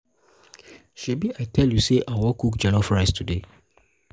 shebi i tell you say i wan cook jollof rice today